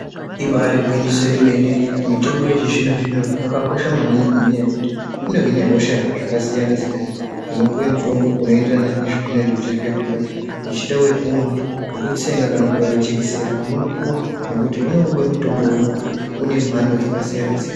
Ibaarigwinyiso remene mitombo yechizvinozvino yakakosha maningi ngenyaya yekuti inohine hosha zvakasiyanasiyana unopuwe mutombo unoenderana nezvaunenge uchizwe kuda uchida wokumwa, wokutsenga ,kubairwa jekesera unopuwa nekuti unenge ungori mutombo umwe une mhando dzakasiyana siyana.